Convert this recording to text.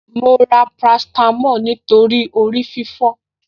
Mo ra paracetamol nítorí orí fífọ́